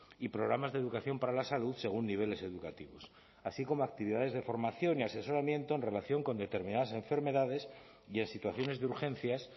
y programas de educación para la salud según niveles educativos así como actividades de formación y asesoramiento en relación con determinadas enfermedades y en situaciones de urgencias